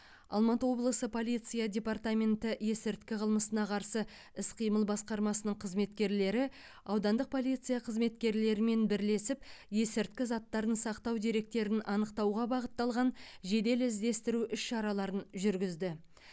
алматы облысы полиция департаменті есірткі қылмысына қарсы іс қимыл басқармасының қызметкерлері аудандық полиция қызметкерлерімен бірлесіп есірткі заттарын сақтау деректерін анықтауға бағытталған жедел іздестіру іс шараларын жүргізді